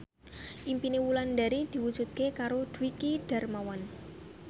impine Wulandari diwujudke karo Dwiki Darmawan